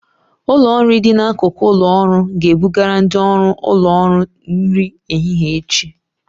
Ụlọ nri dị n'akụkụ ụlọ ọrụ ga-ebugara ndị ọrụ ụlọ ọrụ nri ehihie echi